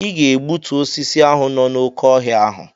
Ị ga egbutu osisi ahụ nọ n'oké ọhịa ahụ!